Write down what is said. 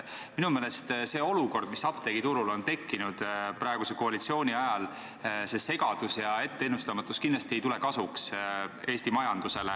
Minu meelest ei tule olukord, mis apteegiturul on praeguse koalitsiooni ajal tekkinud, see segadus ja etteennustamatus, Eesti majandusele kasuks.